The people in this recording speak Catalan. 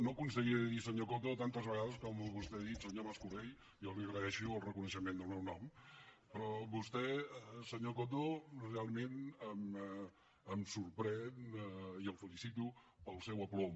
no aconseguiré dir senyor coto tantes vegades com vostè ha dit senyor mas colell jo li agraeixo el reconeixement del meu nom però vostè senyor coto realment em sorprèn i el felicito pel seu aplom